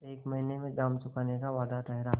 एक महीने में दाम चुकाने का वादा ठहरा